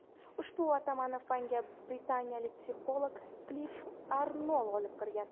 Ushbu atamani fanga britaniyalik psixolog Klif Arnoll olib kirgan.